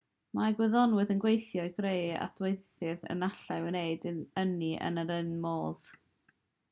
mae gwyddonwyr yn gweithio i greu adweithydd a allai wneud ynni yn yr un modd